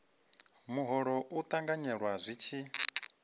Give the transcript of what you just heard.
muholo u ṱanganyelwa zwi tshi